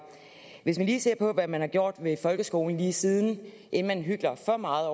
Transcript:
hvis vi ser på hvad man har gjort ved folkeskolen lige siden inden man hykler for meget